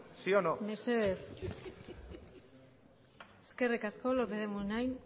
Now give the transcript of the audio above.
sí o no mesedez eskerrik asko lópez de munain